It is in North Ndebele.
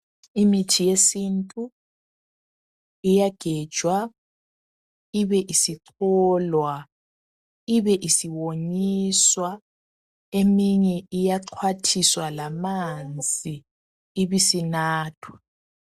Imithi yesintu iyagenjwa ibeisicholwa ibesiwomiswa eminye iyaxhwathiswa lamanzi ibesinathwa.